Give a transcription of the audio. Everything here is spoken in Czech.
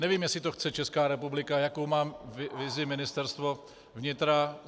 Nevím, jestli to chce Česká republika, jakou má vizi Ministerstvo vnitra.